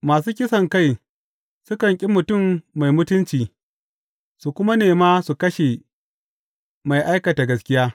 Masu kisankai sukan ƙi mutum mai mutunci su kuma nema su kashe mai aikata gaskiya.